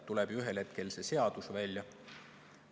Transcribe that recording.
Tuleb ju ühel hetkel see seadus välja.